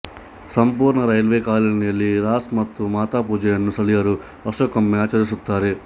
ಸಂಪೂರ್ಣ ರೈಲ್ವೇ ಕಾಲನಿಯಲ್ಲಿ ರಾಸ್ ಮತ್ತು ಮಾತಾ ಪೂಜೆಯನ್ನೂ ಸ್ಥಳೀಯರು ವರ್ಷಕ್ಕೊಮ್ಮೆ ಆಚರಿಸುತ್ತಾರೆ